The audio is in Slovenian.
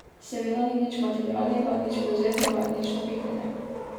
Seveda ni nič materialnega, nič prevzetnega, nič napihnjenega.